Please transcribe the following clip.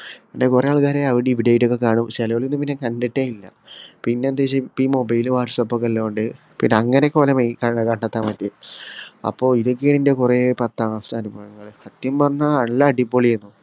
പിന്നെ കൊറേ ആൾക്കാരെ അവിടേം ഇവിടേം ആയിട്ട് ഒക്കെ കാണും ചേലൊരെ ഒന്നും പിന്നെ കണ്ടിട്ടേ ഇല്ല പിന്നെ എന്താന്ന് വെച്ചാ ഇപ്പീ mobile whatsapp ഒക്കെ ഇല്ലൊണ്ട് പിന്നെ അങ്ങനെ ഒക്കെ ഓര മൈ കണ്ടെത്താൻ പറ്റിട്ടുണ്ട് അപ്പൊ ഇതൊക്കെയാ എന്റെ കൊറേ പത്താം class ത്തെ അനുഭവങ്ങള് സത്യം പറഞ്ഞാ നല്ല അടിപൊളിയായിര്ന്നു